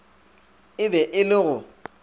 e be e le go